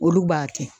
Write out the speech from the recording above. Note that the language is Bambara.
Olu b'a kɛ